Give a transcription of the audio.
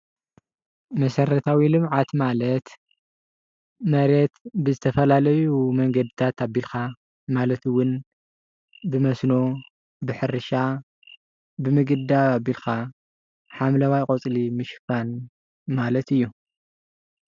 መሰረታዊ ልምዓት ማለት መሬት ብዝተፈላለዩ መንገድታት ኣቢልካ ማለት ውን ብመስኖ፣ ብሕርሻ ብምግዳብ ኣቢልካ ሓምለዋይ ቆፅሊ ምሽፋን ማለት እዩ።